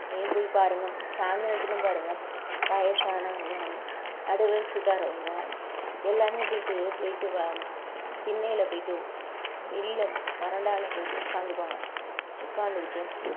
போய் பாருங்க சாயந்திரத்திலயும் பாருங்க வயசானவங்க நடுவயசுகறவங்க எல்லாமே போயிட்டு போயிட்டு வ~ திண்ணையில போயிட்டு வெளியில வராண்டால போயிட்டு உக்கந்துப்பாங்க உக்காந்துகிட்டு